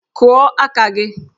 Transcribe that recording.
Kụọ aka gị!